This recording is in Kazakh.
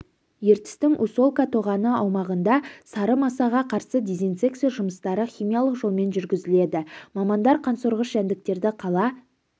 ертістің усолка тоғаны аумағында сары масаға қарсы дезинсекция жұмыстары химиялық жолмен жүргізіледі мамандар қансорғыш жәндіктерді қала